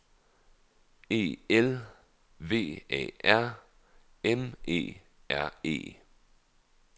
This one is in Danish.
E L V A R M E R E